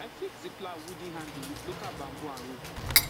i fix the plow wooden handle with local bamboo and rope